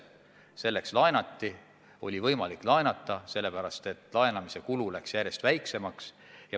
Selleks laenati – oli võimalik laenata, sest laenamise kulu läks järjest väiksemaks.